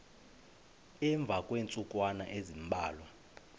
emva kweentsukwana ezimbalwa